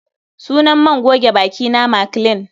Sunan man goge bakina Maclean